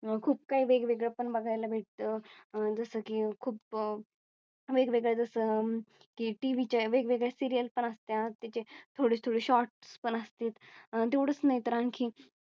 खूप काही वेगवेगळं पण बघायला भेटतं अह जसं की खूप वेगवेगळं जस अं की TV चे वेगवेगळे Serial पण असते त्याची थोडी थोडी Shorts पण असतात. तेवढंच नाही तर आणखी